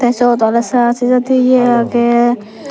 tay siyot ole sa sijaide ye agey.